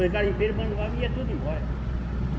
Os garimpeiros abandonava e ia tudo embora.